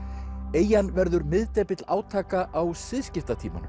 eyjan verður miðdepill átaka á